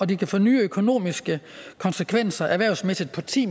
det kan få nye økonomiske konsekvenser erhvervsmæssigt for ti